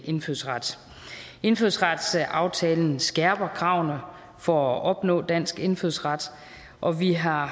indfødsret indfødsretsaftalen skærper kravene for at opnå dansk indfødsret og vi har